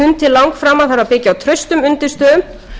langframa þarf að byggja á traustum undirstöðum þær undirstöður